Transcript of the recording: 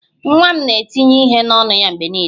Nwa m na-etinye ihe n'ọnụ ya mgbe niile